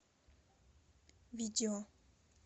видео